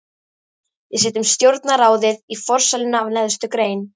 Við setjum stjórnarráðið í forsæluna af neðstu grein.